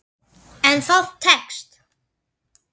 En það tekst.